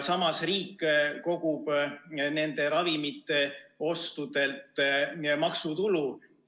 Samas riik kogub nende ravimite ostudelt maksutulu.